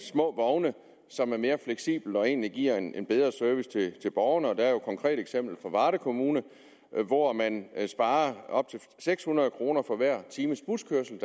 små vogne som er mere fleksible og egentlig giver en bedre service til borgerne der er et konkret eksempel i varde kommune hvor man sparer op til seks hundrede kroner for hver times buskørsel